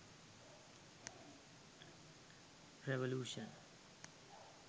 revolution